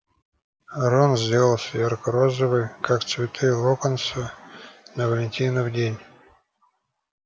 рон сделался ярко-розовый как цветы локонса на валентинов день